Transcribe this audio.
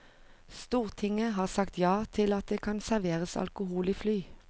Stortinget har sagt ja til at det kan serveres alkohol i fly.